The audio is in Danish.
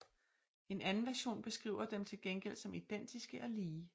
En anden version beskriver dem til gengæld som identiske og lige